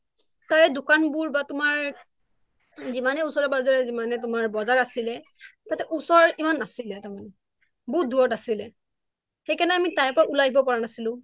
কাৰণ তাৰে দোকান বোৰ বা তোমাৰ যিমানে উচৰে পাজৰে যিমানে তোমাৰ বজাৰ আছিলে তাতে ওচৰত ইমান নাছিলে তাৰ মানে বহুত দূৰত আছিলে সেইকাৰণে আমি তাৰ পৰা উলাই আহিব পৰা নাছিলোঁ